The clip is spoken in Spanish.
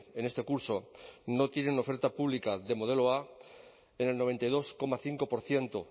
en este curso no tienen oferta pública de modelo a en el noventa y dos coma cinco por ciento